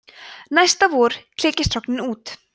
næsta vor klekjast hrognin út